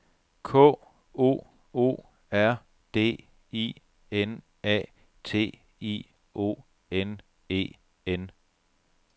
K O O R D I N A T I O N E N